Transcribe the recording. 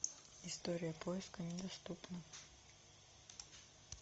история поиска недоступна